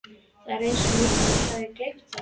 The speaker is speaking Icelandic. Það er eins og mýrin hafi gleypt það.